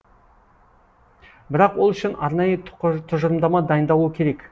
бірақ ол үшін арнайы тұжырымдама дайындалуы керек